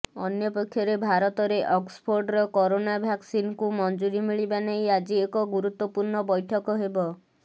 ଅନ୍ୟପକ୍ଷରେ ଭାରତରେ ଅକ୍ସଫୋର୍ଡର କରୋନା ଭ୍ୟାକସିନକୁ ମଞ୍ଜୁରୀ ମିଳିବା ନେଇ ଆଜି ଏକ ଗୁରୁତ୍ୱପୂର୍ଣ୍ଣ ବୈଠକ ହେବ